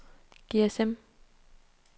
GSM